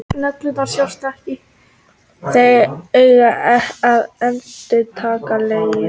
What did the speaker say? Þeir eiga að endast lengi.